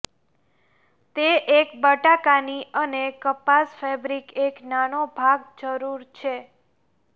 તે એક બટાકાની અને કપાસ ફેબ્રિક એક નાનો ભાગ જરૂર છે